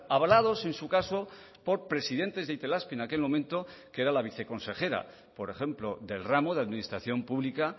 hablados en su caso por presidentes de itelazpi en aquel momento que era la viceconsejera por ejemplo del ramo de administración pública